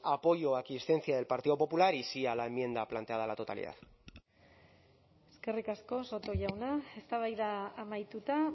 apoyo o aquiescencia del partido popular y sí a la enmienda planteada a la totalidad eskerrik asko soto jauna eztabaida amaituta